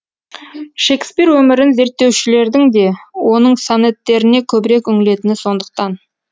шекспир өмірін зерттеушілердің де оның сонеттеріне көбірек үңілетіні сондықтан